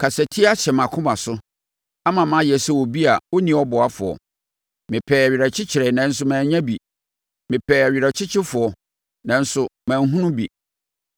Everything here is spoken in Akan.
Kasatia ahyɛ mʼakoma so ama mayɛ sɛ obi a ɔnni ɔboafoɔ; mepɛɛ awerɛkyekyerɛ nanso mannya bi, mepɛɛ ɔwerɛkyekyefoɔ, nanso manhunu bi.